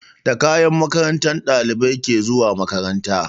Da kayan makaranta ɗalibai ke zuwa makaranta